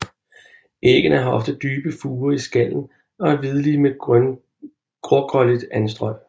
Æggene har ofte dybe furer i skallen og er hvidlige med grågrønligt anstrøg